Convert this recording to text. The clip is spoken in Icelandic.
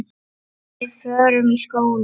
Við förum í skóla.